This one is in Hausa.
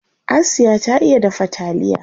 Asiya ta iya dafa taliya.